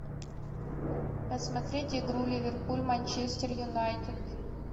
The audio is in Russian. посмотреть игру ливерпуль манчестер юнайтед